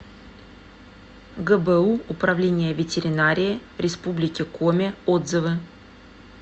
гбу управление ветеринарии республики коми отзывы